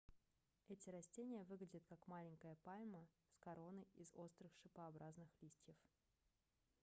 эти растения выглядят как маленькая пальма с короной из острых шипообразных листьев